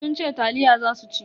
Sun ce taliya za su ci.